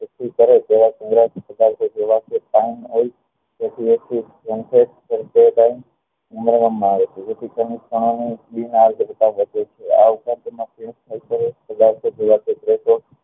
એકઠી કરે ત્યારે જેથી એક થી